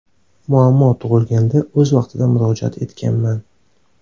Muammo tug‘ilganda, o‘z vaqtida murojaat etganman.